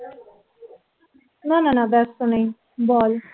না না না ব্যস্ত নেই বল